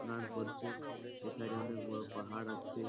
তারপর দিয়ে এখনে অনেক বড়ো পাহাড় আছে।